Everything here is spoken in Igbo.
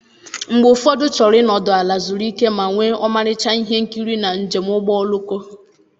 Mgbe ụfọdụ ị chọrọ ịnọdụ ala, zuru ike, ma nwee ọmarịcha ihe nkiri na njem ụgbọ oloko.